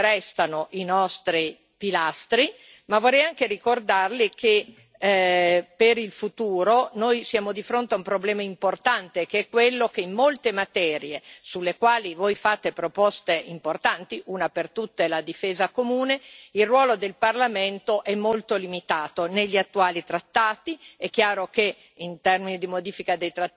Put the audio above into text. Vorrei ricordarle che quelli restano i nostri pilastri, ma vorrei anche ricordarle che, per il futuro, siamo di fronte a un problema importante, ossia che in molte materie sulle quali fate proposte importanti una per tutte, la difesa comune il ruolo del Parlamento è molto limitato negli attuali trattati.